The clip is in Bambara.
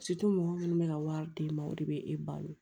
mɔgɔ minnu bɛ ka wari di ma o de bɛ e balo